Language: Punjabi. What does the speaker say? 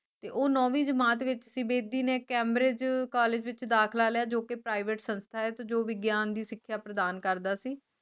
ਤੇ ਉਹ ਨੌਵੀਂ ਜਮਾਤ ਵਿਚ ਬੇਦੀ ਨੇ Cambridge College ਵਿਚ ਦਾਖਿਲਾ ਲਿਆ ਜੋ ਕੇ private ਸੰਸਥਾ ਹੈ ਤੇ ਜੋ ਵਿਗਿਆਨ ਦੀ ਸਿਖਿਆ ਪ੍ਰਦਾਨ ਕਰਦਾ ਸੀ